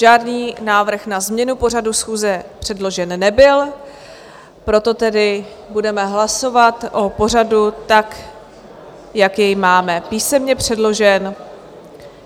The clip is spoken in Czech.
Žádný návrh na změnu pořadu schůze předložen nebyl, proto tedy budeme hlasovat o pořadu tak, jak jej máme písemně předložen.